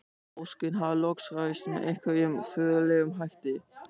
Óskin hafði loks ræst með einhverjum furðulegum hætti.